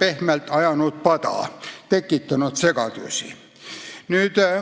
pehmelt öeldes pada ajanud, tekitanud segadusi.